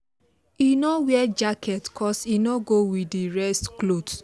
he no wear jacket cos e no go with the rest cloth